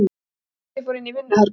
Gísli fór inn í vinnuherbergi.